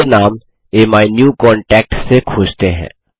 चलिए नाम अमीन्यूकांटैक्ट से खोजते हैं